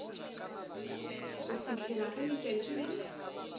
go fihlela ge letšatši le